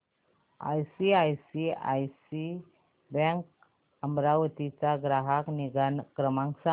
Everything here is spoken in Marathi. आयसीआयसीआय बँक अमरावती चा ग्राहक निगा क्रमांक सांगा